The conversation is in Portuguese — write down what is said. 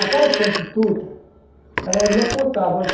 Aquelas prostitutas, elas me apontavam.